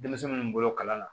Denmisɛnninw bolo kalan na